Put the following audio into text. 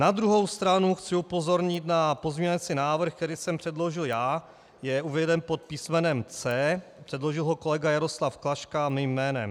Na druhou stranu chci upozornit na pozměňovací návrh, který jsem předložil já, je uveden pod písmenem C. Předložil ho kolega Jaroslav Klaška mým jménem.